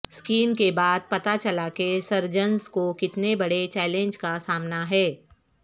scan کے بعد پتہ چلا کہ سرجنز کو کتنے بڑے چیلنج کا سامنا ہے